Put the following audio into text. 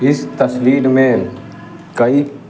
इस तस्वीर में कई --